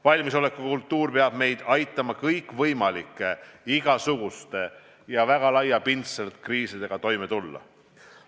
Valmisolekukultuur peab meid aitama kõikvõimalike, ka väga laiapindsete kriisidega toime tulla.